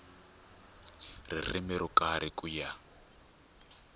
ririmi ro karhi ku ya